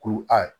Ko ayi